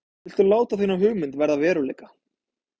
Viltu láta þína hugmynd verða að veruleika?